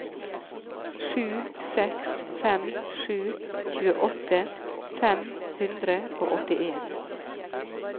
sju seks fem sju tjueåtte fem hundre og åttien